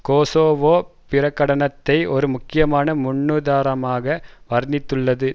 Kosovo பிரகடனத்தை ஒரு முக்கியமான முன்னுதாரணமாக வர்ணித்துள்ளது